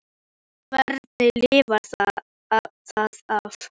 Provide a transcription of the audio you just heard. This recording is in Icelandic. Hvernig lifir það af, öfgakennt og hættulegt sem það er?